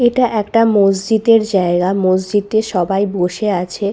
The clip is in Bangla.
এটা একটা মসজিদের জায়গা। মসজিদে সবাই বসে আছে ।